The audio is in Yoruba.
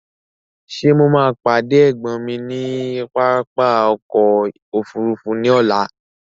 Ṣé mo máa pàdé ẹ̀gbọ́n mi ní pápá ọkọ̀ òfúrúúfú ní ọ̀la?